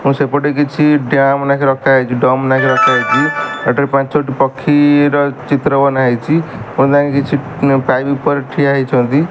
ସେପଟେ କିଛି ଡ୍ୟାମ ରଖାହେଇଚି ରଖାହେଇଚି ଏଠାରେ ପାଞ୍ଚଟି ପକ୍ଷୀର ଚିତ୍ର ବନାହେଇଚି ପୁଣି କିଛି ପାଇପ୍ ଉପରେ ଠିଆ ହୋଇଚନ୍ତି ।